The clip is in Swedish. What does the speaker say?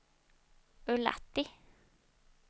Ullatti